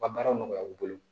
U ka baara nɔgɔya u bolo